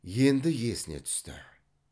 енді есіне түсті